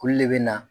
Olu de bɛ na